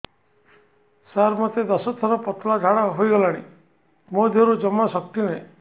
ସାର ମୋତେ ଦଶ ଥର ପତଳା ଝାଡା ହେଇଗଲାଣି ମୋ ଦେହରେ ଜମାରୁ ଶକ୍ତି ନାହିଁ